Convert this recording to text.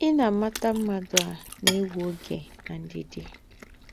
Ị na mata mmadụ a na-ewe oge na ndidi.